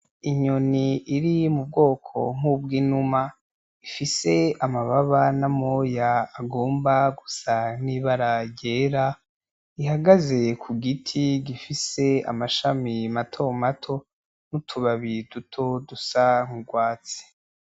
Inyoni iri m'ubwoko nkubw'inuma ifise amababa n’amoya agomba gusa nk'ibara ryera, ihagaze kugiti gifise amashami mato mato n'utubabi duto dusa nk'urwatsi.